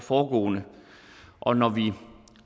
foregående og når vi